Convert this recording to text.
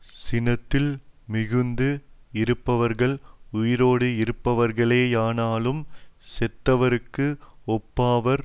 சினத்தில் மிகுந்து இருப்பவர்கள் உயிரோடிருப்பவர்களேயானாலும் செத்தவருக்கு ஒப்பாவார்